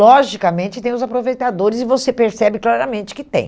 Logicamente, tem os aproveitadores e você percebe claramente que tem.